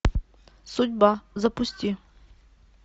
судьба запусти